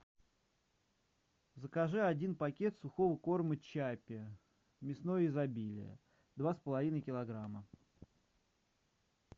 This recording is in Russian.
закажи один пакет сухого корма чаппи мясное изобилие два с половиной килограмма